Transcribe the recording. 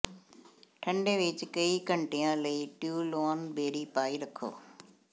ਠੰਡੇ ਵਿਚ ਕਈ ਘੰਟਿਆਂ ਲਈ ਟਿਓਲੋਅਨ ਬੇਰੀ ਪਾਈ ਰੱਖੋ